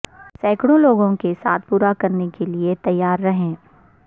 سینکڑوں لوگوں کے ساتھ پورا کرنے کے لئے تیار رہیں